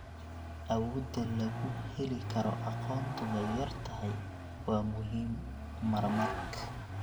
Awoodda lagu heli karo aqoontu way yar tahay wa muhim marmark